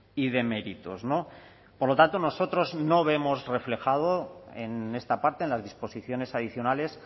y de méritos por lo tanto nosotros no vemos reflejado en esta parte en las disposiciones adicionales